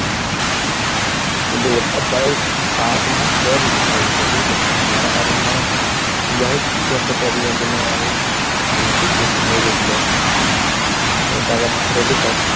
হ্যাঁ, কিন্তু ওটা প্রায় পাঁচ মাস পর refund হয়েছিল বুঝলে? মানে টাকাটা মনে হয় যাই হোক কিছু একটা problem এর জন্য এমন মানে situation হয়ে গিয়েছিলো মনে টাকাটা ফেরতই পাচ্ছিলাম না।